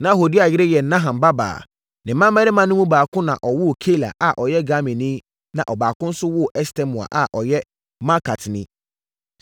Na Hodia yere yɛ Naham nuabaa. Ne mmammarima no mu baako na ɔwoo Keila a ɔyɛ Garmini na ɔbaako nso woo Estemoa a ɔyɛ Maakatni.